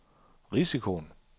risikoen